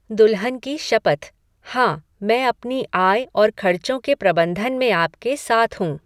दुल्हन की शपथ हाँ, मैं अपनी आय और खर्चों के प्रबंधन में आपके साथ हूँ।